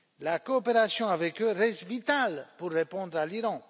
La coopération avec eux reste vitale pour répondre à l'Iran.